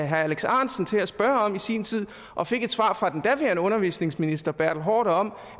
herre alex ahrendtsen til at spørge om i sin tid og fik et svar fra den daværende undervisningsminister bertel haarder om